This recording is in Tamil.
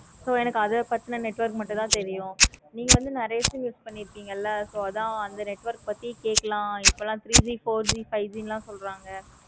so அத பத்தின network மட்டும் தன தெரியும். நீ வந்து நெறைய sim use பன்னிருப்பிங்க. so அதான் அந்த network பத்திக் கேட்கலாம் இப்போல three G, four G, five G லாம் சொல்றாங்க.